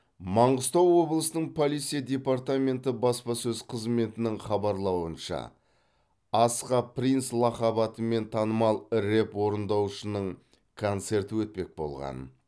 маңғыстау облысының полиция департменті баспасөз қызметінің хабарлауынша асха принц лақап атымен танымал рэп орындаушының концерті өтпек болған